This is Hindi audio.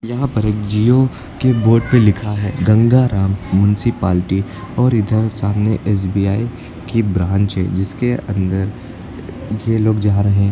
यहां पर एक जिओ के बोर्ड पे लिखा है गंगाराम मुन्सीपालटी और इधर सामने एस_बी_आई की ब्रांच है जिसके अंदर ये लोग जा रहे--